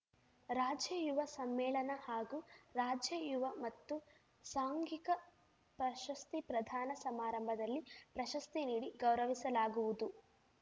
ರಾಜ್ಯ ಯುವ ಸಮ್ಮೇಳನ ಹಾಗೂ ರಾಜ್ಯ ಯುವ ಮತ್ತು ಸಾಂಘಿಕ ಪ್ರಶಸ್ತಿ ಪ್ರದಾನ ಸಮಾರಂಭದಲ್ಲಿ ಪ್ರಶಸ್ತಿ ನೀಡಿ ಗೌರವಿಸಲಾಗುವುದು